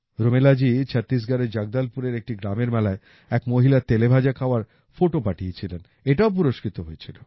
রুমেলাজি ছত্তিশগড়এর জগদলপুর এর একটি গ্রামের মেলায় এক মহিলার তেলেভাজা খাওয়ার ফোটো পাঠিয়েছিলেন এটাও পুরস্কৃত হয়েছিল